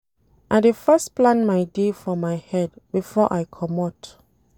I dey first plan my day for my head before I comot.